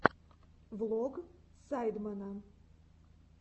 влог сайдмена